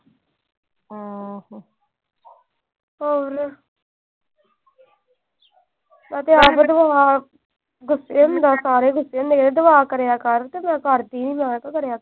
ਮੈਂ ਤਾਂ ਆਪ ਦੁਆ, ਗੁੱਸੇ ਹੁੰਦਾ ਆ ਸਾਰੇ ਅਹ ਸਾਰੇ ਗੁੱਸੇ ਆ ਦੁਆ ਕਰਿਆ ਕਰ। ਮੈਂ ਕਰਦੀ ਆ।